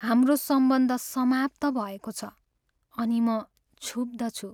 हाम्रो सम्बन्ध समाप्त भएको छ अनि म क्षुब्द छु।